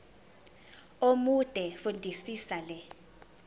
omude fundisisa le